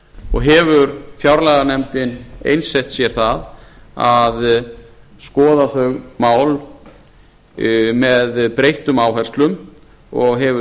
og hefur fjárlaganefndin einsett sér það að skoða þau mál með breyttum áherslum og hefur